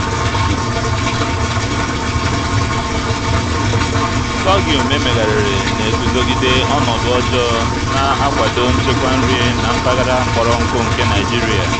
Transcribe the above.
sorghum emezigharịrị na-eguzogide ọnọdụ ọjọọ na-akwado nchekwa nri na mpaghara kpọrọ nkụ nke nigeria.